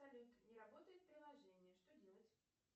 салют не работает приложение что делать